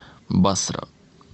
басра